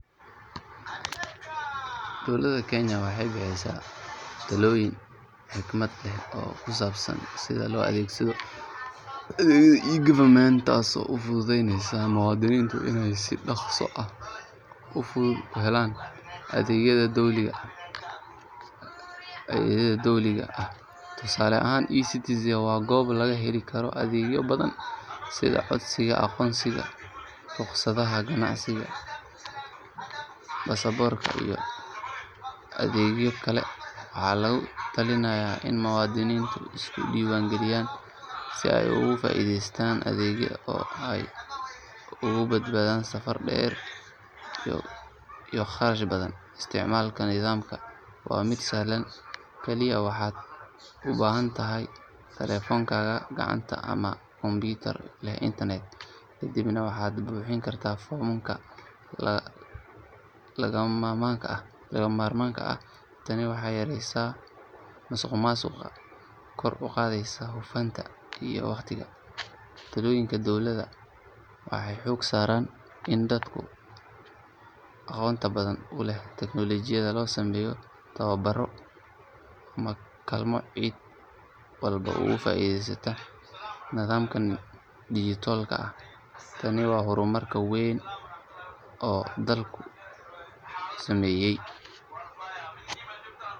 Dowladda Kenya waxay bixisay talooyin xikmad leh oo ku saabsan sida loo adeegsado adeegyada e-government taasoo u fududeynaysa muwaadiniinta inay si dhakhso ah oo fudud u helaan adeegyada dowliga ah. Tusaale ahaan, eCitizen waa goob laga heli karo adeegyo badan sida codsiga aqoonsiga, rukhsadaha ganacsiga, baasaboorka iyo adeegyo kale. Waxaa lagu talinayaa in muwaadiniintu iska diiwaan geliyaan si ay uga faa'iidaystaan adeegyadan oo ay uga badbaadaan safar dheer iyo kharash badan. Isticmaalka nidaamkan waa mid sahlan, kaliya waxaad u baahan tahay taleefankaaga gacanta ama kombiyuutar leh internet, kadibna waxaad buuxin kartaa foomamka lagama maarmaanka ah. Tani waxay yareyneysaa musuqmaasuqa, kor u qaadaysaa hufnaanta iyo waqtiga. Talooyinka dowladda waxay xooga saaraan in dadka aan aqoonta badan u lahayn teknolojiyadda loo sameeyo tababaro ama kaalmo si cid walba uga faa'iideyso nidaamka dijitaalka ah. Tani waa horumar weyn oo dalku sameeyay.